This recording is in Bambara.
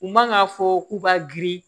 U man k'a fɔ k'u b'a girin